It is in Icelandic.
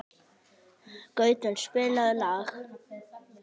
Gautur, spilaðu lag.